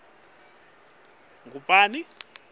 nobe ngabe ngubani